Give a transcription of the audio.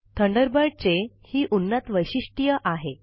Thunderbird चे हि काही प्रगत वैशीष्ट्य आहे